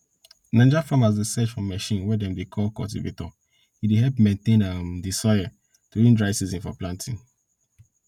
naija farmers dey search for machine wey dem dey call cultivator e dey help maintain um di soil during dry season for planting